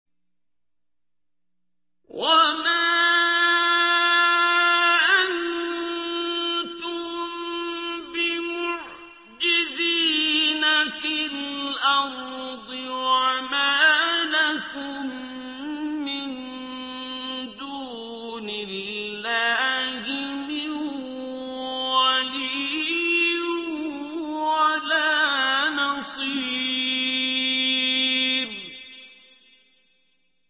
وَمَا أَنتُم بِمُعْجِزِينَ فِي الْأَرْضِ ۖ وَمَا لَكُم مِّن دُونِ اللَّهِ مِن وَلِيٍّ وَلَا نَصِيرٍ